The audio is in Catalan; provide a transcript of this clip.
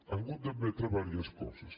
ha hagut d’admetre diverses coses